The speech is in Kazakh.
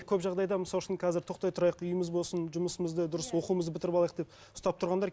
көп жағдайда мысалы үшін қазір тоқтай тұрайық үйіміз болсын жұмысымызды дұрыс оқуымызды бітіріп алайық деп ұстап тұрғандар